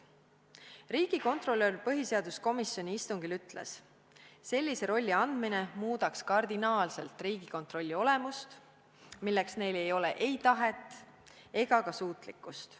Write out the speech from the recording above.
Riigikontrolör ütles põhiseaduskomisjoni istungil: sellise rolli andmine muudaks kardinaalselt Riigikontrolli olemust ja neil ei ole selleks ei tahet ega ka suutlikkust.